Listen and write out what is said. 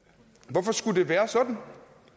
hvorfor skulle det være sådan